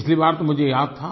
पिछली बार तो मुझे याद था